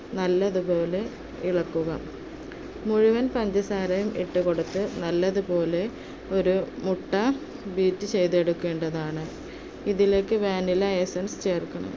നല്ലതുപോലെ ഇളക്കുക മുഴുവൻ പഞ്ചസാരയും ഇട്ടു കൊടുത്തു നല്ലതുപോലെ, ഒരു മുട്ട beat ചെയ്‌തെടുക്കേണ്ടതാണ്. ഇതിലേക്ക് vanilla essence ചേർക്കണം.